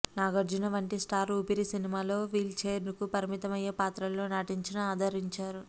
నాగార్జున వంటి స్టార్ ఊపిరి సినిమాలో wheel chair కు పరిమితం అయ్యే పాత్రలో నటించినా ఆదరించారు